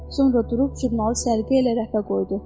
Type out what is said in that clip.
Sonra durub jurnalı səliqə ilə rəfə qoydu.